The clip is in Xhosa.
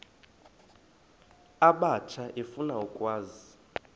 abatsha efuna ukwazi